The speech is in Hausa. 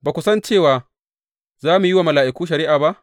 Ba ku san cewa za mu yi wa mala’iku shari’a ba?